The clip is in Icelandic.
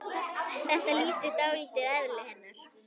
Þetta lýsir dálítið eðli hennar.